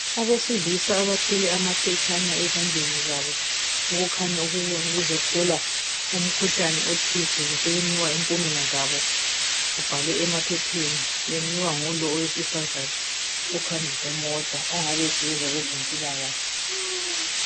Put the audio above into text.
Abesilisa abathwele amaphetshana ezandleni zabo okukhanya ukuba bebezohlolwa umkhuhlane othize basebenikwa impumela zabo kubhalwe emaphepheni benikwa ngulo owesifazana ophambi kwemota ongabe esebenza kwezempilakahle.